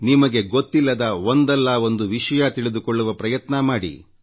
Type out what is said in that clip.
ನಿಮಗೆ ಗೊತ್ತಿಲ್ಲದ ಒಂದಲ್ಲಾ ಒಂದು ವಿಷಯ ತಿಳಿದುಕೊಳ್ಳುವ ಪ್ರಯತ್ನ ಮಾಡಿ